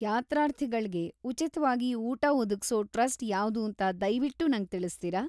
ಯಾತ್ರಾರ್ಥಿಗಳ್ಗೆ ಉಚಿತ್ವಾಗಿ ಊಟ ಒದಗ್ಸೋ ಟ್ರಸ್ಟ್ ಯಾವ್ದೂಂತ ದಯ್ವಿಟ್ಟು ನಂಗ್ ತಿಳಿಸ್ತೀರಾ?